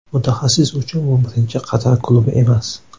Mutaxassis uchun bu birinchi Qatar klubi emas.